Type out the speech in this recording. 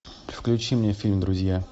включи мне фильм друзья